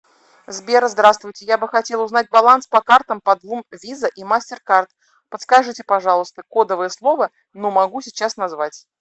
сбер здравствуйте я бы хотел узнать баланс по картам по двум виза и мастеркард подскажите пожалуйста кодовое слово ну могу сейчас назвать